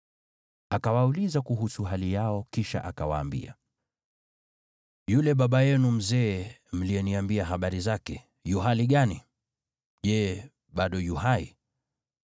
Akawauliza kuhusu hali yao, kisha akawaambia, “Yule baba yenu mzee mliyeniambia habari zake, yu hali gani? Je, bado yu hai?”